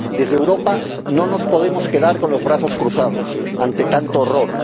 Desde Europa no nos podemos quedar con los brazos cruzados ante tanto horror.